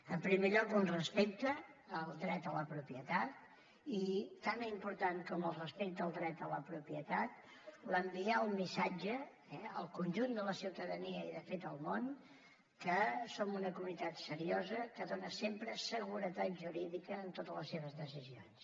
en primer lloc un respecte al dret a la propietat i tan important com el respecte al dret a la propietat enviar el missatge al conjunt de la ciutadania i de fet al món que som una comunitat seriosa que dóna sempre seguretat jurídica en totes les seves decisions